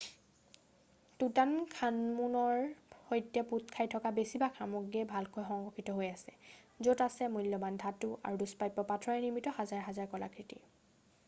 টুতানখামুনৰ সৈতে পোত খাই থকা বেছিভাগ সমগ্ৰীয়ে ভালকৈ সংৰক্ষিত হৈ আছে য'ত আছে মূল্যবান ধাতু আৰু দুষ্প্ৰাপ্য পাথৰেৰে নিৰ্মিত হাজাৰ হাজাৰ কলাকৃতি